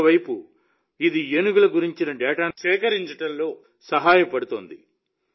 మరోవైపు ఇది ఏనుగుల గురించి డేటాను సేకరించడంలో సహాయపడుతుంది